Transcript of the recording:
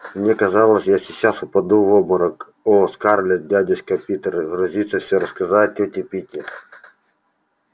мне казалось я сейчас упаду в обморок о скарлетт дядюшка питер грозится все рассказать тете питти